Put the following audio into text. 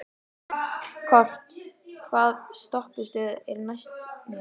Kort (mannsnafn), hvaða stoppistöð er næst mér?